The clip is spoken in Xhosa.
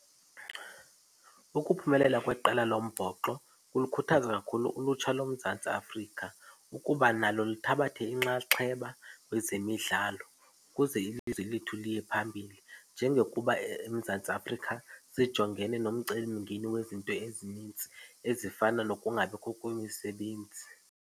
Ukuphumelela kweqela lombhoxo kulikhuthaza kakhulu ulutsha loMzantsi Afrika ukuba nalo luthathe inxaxheba kwezemidlalo ukuze ilizwe lethu liye phambili njengokuba eMzantsi Afrika sijongene nomcelimngeni wezinto ezinintsi, ezifana nokungabikho kwemisebenzi.